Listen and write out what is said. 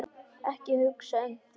Ekki hugsa um þau!